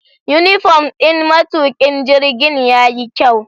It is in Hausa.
Unifom ɗin matukin jirgin yayi kyau.